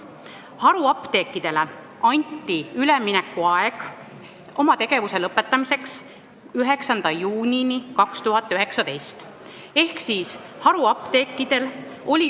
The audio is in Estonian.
Haruapteekidele anti üleminekuaega 9. juunini 2019.